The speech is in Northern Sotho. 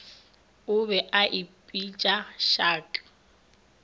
o be a ipitša shark